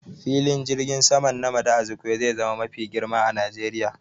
Filin jirgin saman Nnamdi Azikiwe zai zama mafi girma a Najeriya